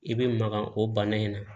I bɛ maga o bana in na